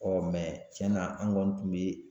tiɲɛna an kɔni tun bɛ